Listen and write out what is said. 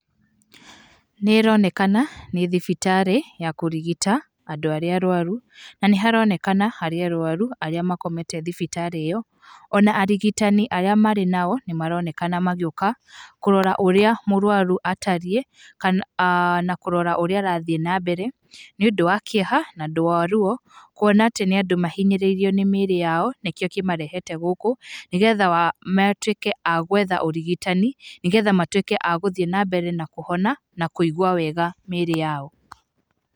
Nĩ ĩronekana nĩ thibitarĩ ya kũrigita andũ arĩa arũaru, na nĩ haronekana hena arũaru arĩa makomete thibitarĩ ĩyo, ona arigitani arĩa marĩ nao, nĩ maronekana magĩũka kũrora ũrĩa mũrũaru atariĩ kana, na kũrora ũrĩa arathiĩ na mbere. Nĩ ũndũ wa kĩeha na ũndũ wa ruo kũona atĩ nĩ andũ mahinyĩrĩirio nĩ mĩrĩ yao nĩkĩo kĩmarehete gũkũ, nĩgetha matuĩke a gwetha ũrigitani, nĩgetha matuĩke agũthiĩ na mbere na kũhona na kũigua wega mĩrĩ yao.